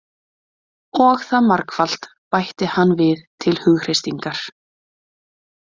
Og það margfalt, bætti hann við til hughreystingar.